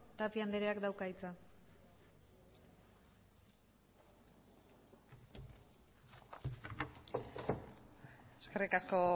tapia andreak dauka hitza eskerrik asko